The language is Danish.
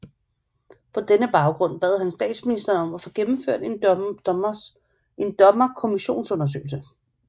På denne baggrund bad han statsministeren om at få gennemført en dommer kommissionsundersøgelse